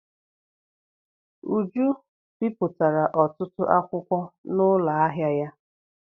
Uju bipụtara ọtụtụ akwụkwọ n'ụlọ ahịa ya.